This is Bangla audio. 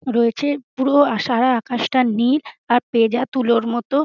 রয়েছে পুরো সারা আকাশ তা নীল আর পেঁজা তুলোর মত।